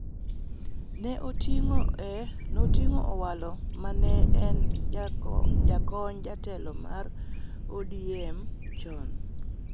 ne oting�o Owalo ma ne en jakony jatelo mar ODM chon.